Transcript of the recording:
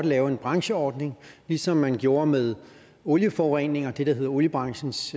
lave en brancheordning ligesom man gjorde med olieforurening og det der hedder oliebranchens